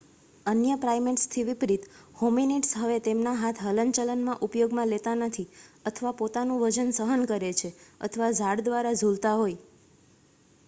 અન્ય પ્રાઈમેટ્સથી વિપરીત હોમિનીડ્સ હવે તેમના હાથ હલનચલનમાં ઉપયોગમાં લેતા નથી અથવા પોતાનું વજન સહન કરે છે અથવા ઝાડ દ્વારા ઝૂલતા હોય